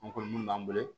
An kɔni mun b'an bolo